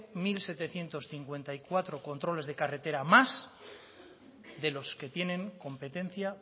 mil setecientos cincuenta y cuatro controles de carretera más de los que tienen competencia